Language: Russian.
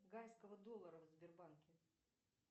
гайского доллара в сбербанке